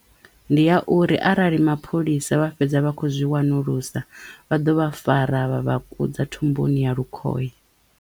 Ndi ya uri arali mapholisa vha fhedza vha khou zwi wanulusa vha ḓo vha fara vha vha kudza thumbuni ya lukhohe.